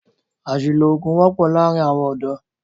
Àṣìlò oògùn wọ́pọ́ láàárín àwọn ọ̀dọ́.